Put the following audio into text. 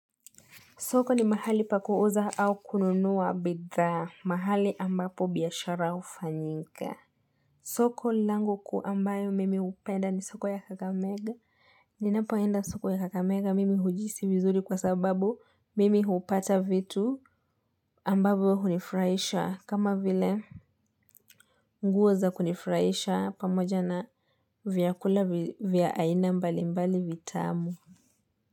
Soko ni mahali pa kuuza au kununua bidhaa mahali ambapo biashara hufanyinka. Soko langu kuu ambayo mimi hupenda ni soko ya kakamega. Ninapoenda soko ya kakamega mimi hujihisi vizuri kwa sababu mimi hupata vitu ambavyo hunifurahisha. Kama vile nguo za kunifurahisha pamoja na vyakula vya aina mbali mbali vitamu.